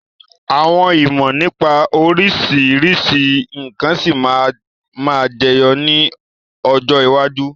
Àwọn ìmọ̀ nípa oríṣiríṣi nkan sì máa ma jẹyọ ni ọjọ́ iwájú.